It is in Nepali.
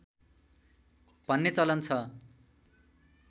भन्ने चलन छ